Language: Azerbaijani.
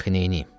Dəxı neyləyim?